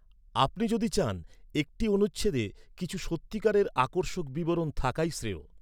আপনি যদি চান একটি অনুচ্ছেদে কিছু সত্যিকারের আকর্ষক বিবরণ থাকাই শ্রেয়!